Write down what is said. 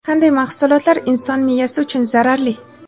Qanday mahsulotlar inson miyasi uchun zararli?.